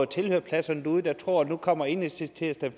tilhørerpladserne der tror at nu kommer enhedslisten